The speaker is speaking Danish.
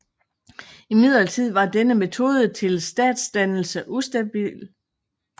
Imidlertid var denne metode til statsdannelse ustabil